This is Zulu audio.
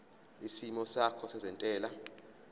isimo sakho sezentela